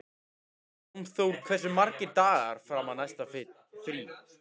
Hjálmþór, hversu margir dagar fram að næsta fríi?